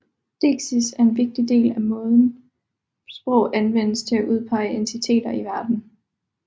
Deiksis er en vigtig del af måden sprog anvendes til at udpege entiteter i verden